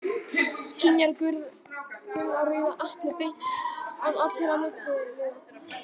Skynjar Gunna rauða eplið beint, án allra milliliða?